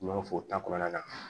N'i y'a fɔ u ta kɔnɔna na